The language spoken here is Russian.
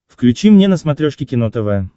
включи мне на смотрешке кино тв